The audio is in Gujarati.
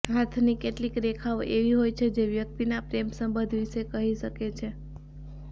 હાથની કેટલીક રેખાઓ એવી હોય છે જે વ્યક્તિના પ્રેમ સંબંધ વિશે કહી શકે છે